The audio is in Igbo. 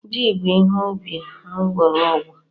Ji bụ ihe ubi mgbọrọgwụ.